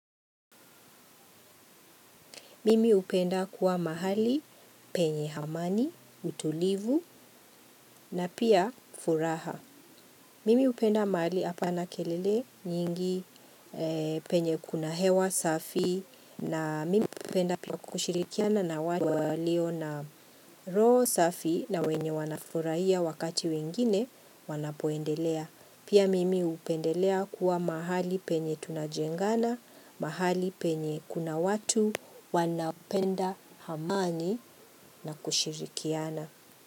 Mimi hupenda kuwa mahali penye amani, utulivu na pia furaha. Mimi hupenda mahali hapana kelele nyingi. Penye kuna hewa safi na mimi hupenda kushirikiana na watu walio na roho safi na wenye wanafurahia wakati wengine wanapoendelea. Pia mimi hupendelea kuwa mahali penye tunajengana, mahali penye kuna watu, wanapenda amani na kushirikiana.